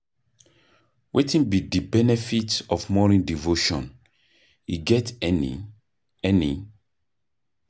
Wetin be di benefit of morning devotion, e get any? any?